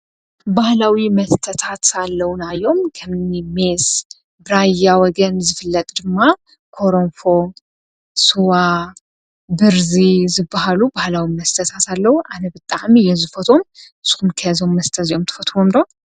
ባህላዊ መስተታት ኣለውና እዮም። ከምኒ ሜስ፣ ብራያ ወገን ዝፍለጥ ድማ ኮረንፎ፣ ስዋ፣ ብርዚ ዝባሃሉ ባህላዊ መስተታት አለው። ኣነ ብጣዕሚ እየ ዝፈትዎ። ንስኹም ከ እዞም መስተታት እዚኦም ትፈትውዎም ዶ?